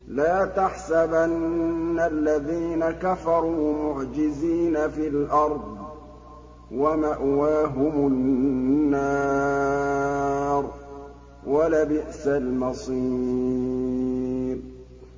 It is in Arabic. لَا تَحْسَبَنَّ الَّذِينَ كَفَرُوا مُعْجِزِينَ فِي الْأَرْضِ ۚ وَمَأْوَاهُمُ النَّارُ ۖ وَلَبِئْسَ الْمَصِيرُ